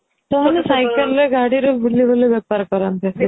ସେମାନେ ସାଇକେଲ ଗାଡିରେ ବୁଲି ବୁଲି ବେପାର କରନ୍ତି